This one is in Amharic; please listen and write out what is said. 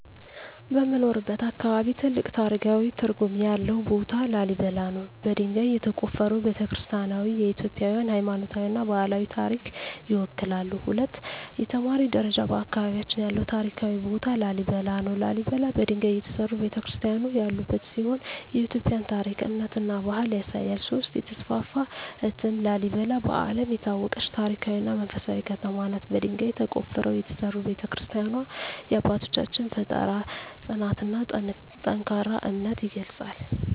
በምኖርበት አካባቢ ትልቅ ታሪካዊ ትርጉም ያለው ቦታ ላሊበላ ነው። በድንጋይ የተቆፈሩ ቤተ-ክርስቲያናትዋ የኢትዮጵያን ሃይማኖታዊና ባህላዊ ታሪክ ይወክላሉ። 2) የተማሪ ደረጃ በአካባቢያችን ያለው ታሪካዊ ቦታ ላሊበላ ነው። ላሊበላ በድንጋይ የተሠሩ ቤተ-ክርስቲያናት ያሉበት ሲሆን የኢትዮጵያን ታሪክ፣ እምነትና ባህል ያሳያል። 3) የተስፋፋ እትም ላሊበላ በዓለም የታወቀች ታሪካዊ እና መንፈሳዊ ከተማ ናት። በድንጋይ ተቆፍረው የተሠሩ ቤተ-ክርስቲያናትዋ የአባቶቻችንን ፍጠራ፣ ጽናትና ጠንካራ እምነት ይገልጻሉ።